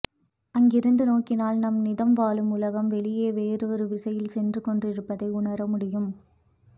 அங்கிருந்து நோக்கினால் நாம் நிதம் வாழும் உலகம் வெளியே வேறொரு விசையில் சென்றுகொண்டிருப்பதை உணர முடியும்